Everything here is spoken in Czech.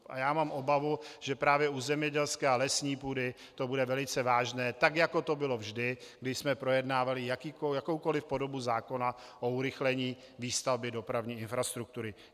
A já mám obavu, že právě u zemědělské a lesní půdy to bude velice vážné, tak jako to bylo vždy, kdy jsme projednávali jakoukoli podobu zákona o urychlení výstavby dopravní infrastruktury.